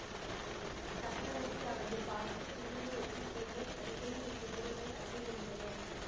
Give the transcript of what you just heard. சக்கரவர்த்தி அவளை பார்த்து புன்னகையுடன் பெண்ணே அடிக்கடி உன் உதடுகள் அசைகின்றன